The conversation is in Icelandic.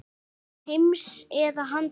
Þessa heims eða að handan.